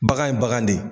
Bagan ye bagan de ye